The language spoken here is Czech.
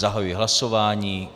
Zahajuji hlasování.